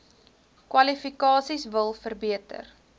kwalifikasies wil verbeter